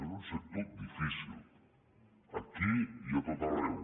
és un sector difícil aquí i a tot arreu